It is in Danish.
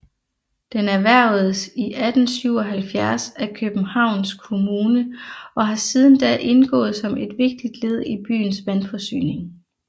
Den erhvervedes i 1877 af Københavns Kommune og har siden da indgået som et vigtigt led i byens vandforsyning